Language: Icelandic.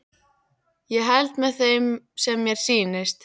Ég held með þeim sem mér sýnist!